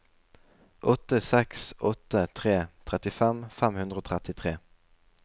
åtte seks åtte tre trettifem fem hundre og trettitre